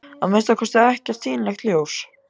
Að minnsta kosti ekkert sýnilegt ljós.